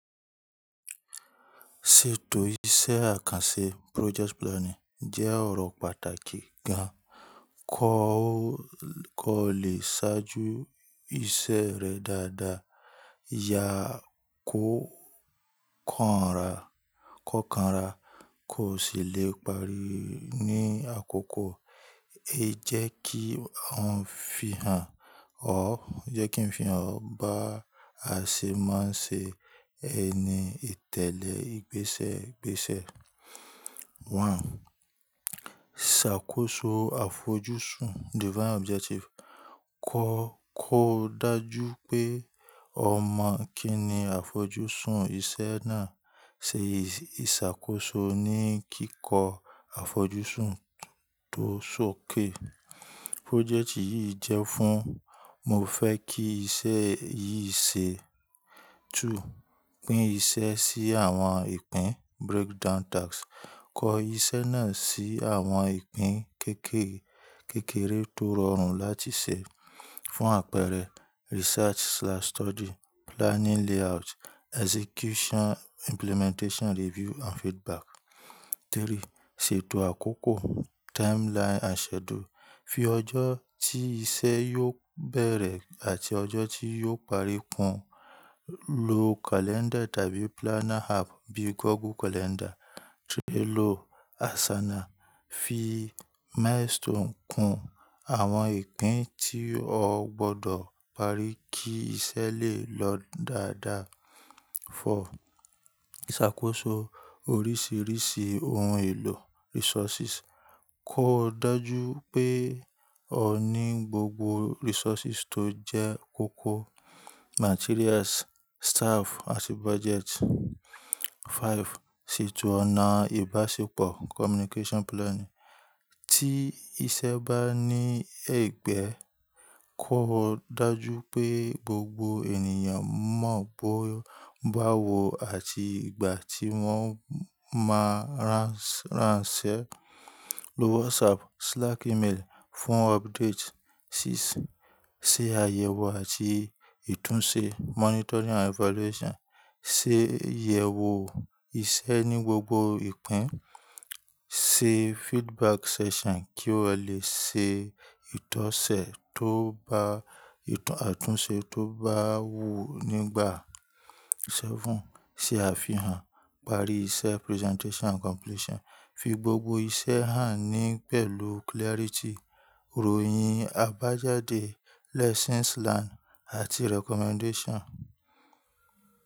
Ṣètò iṣẹ́ àkànṣe project planning jẹ́ ọ̀rọ̀ pàtàkì gan. Kọ́ ó lè ṣáájú iṣẹ́ rẹ dáadáa, ìyà kò kànra, kọ kan ra kò sì le parí ní àkókò. E jẹ́ kí han fi hàn ọ ẹ jẹ kin fi han bá ṣe máa ń ṣe ẹni ìtẹ̀lẹ́ ìgbésẹ̀ gbèsẹ. 1. Ṣàkóso àfojúsùn: Kọ́ ko dájú pé o mọ̀ kín ni àfojúsùn iṣẹ́ náà. Ṣe ìṣàkóso ní kíkọ́ àfojúsùn tó sókè. Project yìí jẹ́ fún, mo fẹ́ kí iṣẹ́ yìí ṣe. 2. Pín iṣẹ́ sí àwọn ìpín breakdown task: Kọ iṣẹ́ náà sí àwọn ìpín kékeré tó rọrùn láti ṣe. Fún àpẹẹrẹ, research/study, planningl ayout, execution implementation, review and feedback. 3. Ṣètò àkókò timeline and schedule: Fi ọjọ́ tí iṣẹ́ yóò bẹ̀rẹ̀ àti ọjọ́ tí yóò parí kùn. Lo calendar tàbí planner app bíi Google Calendar, Trello, Asana. Fi milestone kùn àwọn ìpín tí ọ gbọ́dọ̀ parí kí iṣẹ́ lè lọ dáadáa. 4. Ṣàkóso oríṣìíríṣìí ohun èlò resources: Kọ́ dájú pé o ní gbogbo resources tó jẹ́ kókó materials, staff àti budget. 5. Ṣètò ọ̀nà ìbáṣepọ̀: Town planning, ti iṣẹ́ bá ní ẹ̀gbẹ́, kó dájú pé gbogbo ènìyàn mọ̀ bó wo àti ìgbà tí wọ́n máa ránṣẹ́. Lo WhatsApp, Slack, email fún update. 6. Ṣe àyẹ̀wò àti ìtúnṣe monitoring and evaluation: Se yẹ̀wò iṣẹ́ ní gbogbo ìpín. Se feedback session kí o lè ṣe ìtọ́sẹ̀ tóbá àtúnṣe tó bá wù nígbà. 7. Se àfihàn/parí iṣẹ́ presentation and completion: Fi gbogbo iṣẹ́ hàn ní pẹ̀lú clarity, ìròyìn àbájáde, lessons learned àti recommendation.